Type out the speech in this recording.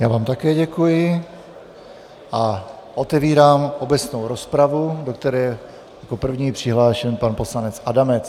Já vám také děkuji a otevírám obecnou rozpravu, do které je jako první přihlášen pan poslanec Adamec.